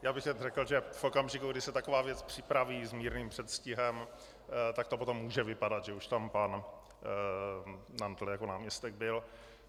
Já bych jen řekl, že v okamžiku, kdy se taková věc připraví s mírným předstihem, tak to potom může vypadat, že už tam pan Nantl jako náměstek byl.